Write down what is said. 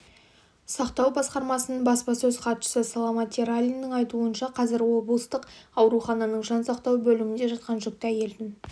сақтау басқармасының баспасөз хатшысы саламат ералиннің айтуынша қазір облыстық аурухананың жансақтау бөлімінде жатқан жүкті әйелдің